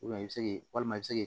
i bɛ se walima i bɛ se k'i